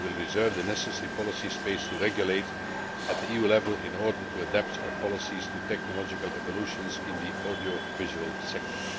We will reserve the necessary policy space to regulate at the EU level in order to adapt our policies to technological evolutions in the audiovisual sector.